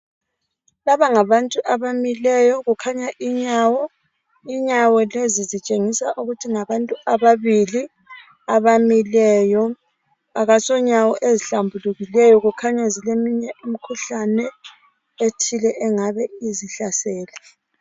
Laba ngabantu abamileyo kukhanya inyawo lezi zitshengisa ukuthi ngabantu ababili abamileyo akaso nyawo ezihlambulukileyo kukhanya zileminye imikhuhlane ethile engabe izihlasele